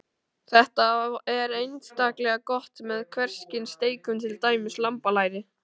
Þetta er einstaklega gott með hverskyns steikum, til dæmis lambalæri.